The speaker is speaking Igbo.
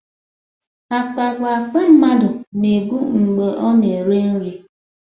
Akpa bụ akpa mmadụ na-ebu mgbe ọ na-ere nri